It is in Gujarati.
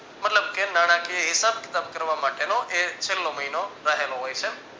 મતલબ કે નાણાકીય હિસાબ કિતાબ કરવા માટે નો એ છલ્લો મહિનો રહેલો હોય છે.